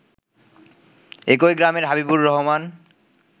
একই গ্রামের হাবিবুর রহমান